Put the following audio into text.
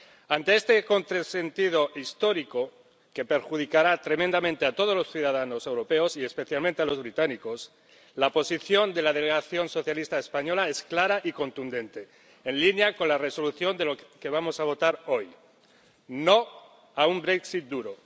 Ante este contrasentido histórico, que perjudicará tremendamente a todos los ciudadanos europeos, y especialmente a los británicos, la posición de la delegación socialista española es clara y contundente, en línea con la propuesta de Resolución que vamos a votar hoy No a un Brexit duro.